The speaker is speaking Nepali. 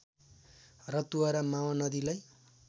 रतुवा र मावा नदीलाई